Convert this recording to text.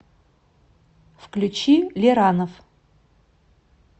включи лиранов